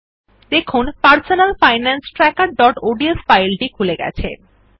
দেখুন personal finance trackerঅডস ফাইলটি খুলে গেছে